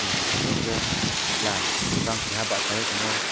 chong nogpio hingke kela jang basai tongmo.